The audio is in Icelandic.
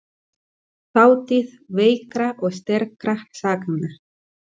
Þátíð veikra og sterkra sagna.